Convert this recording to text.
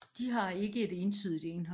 De har ikke et entydigt indhold